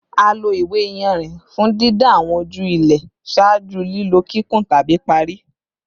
A lo iwe-iyanrin fun didan awọn oju ilẹ ṣaaju lilo kikun tabi pari